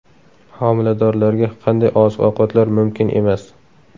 Homiladorlarga qanday oziq-ovqatlar mumkin emas?.